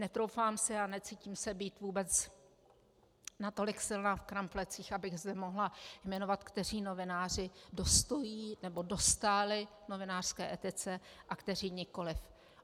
Netroufám si a necítím se být vůbec natolik silná v kramflecích, abych zde mohla jmenovat, kteří novináři dostojí nebo dostáli novinářské etice a kteří nikoli.